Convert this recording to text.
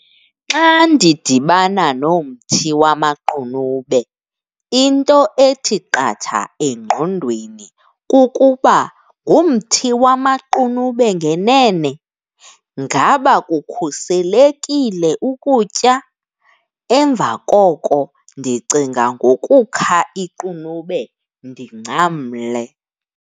Xa ndidibana nomthi wamaqunube into ethi qatha engqondweni kukuba ngumthi wamaqunube ngenene, ngaba kukhuselekile ukutya? Emva koko ndicinga ngokukha iqunube ndingcamle.